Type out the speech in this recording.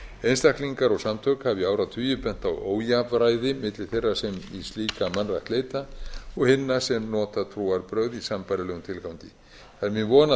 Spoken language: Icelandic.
einstaklingar og samtök hafa í áratugi bent á ójafnræði milli þeirra sem í slíka mannrækt leita og hinna sem nota trúarbrögð í sambærilegum tilgangi það er mín von að